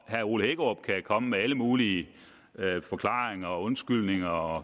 herre ole hækkerup kan komme med alle mulige forklaringer og undskyldninger og